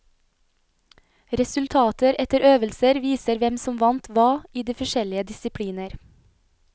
Resultater etter øvelser viser hvem som vant hva i de forskjellige disipliner.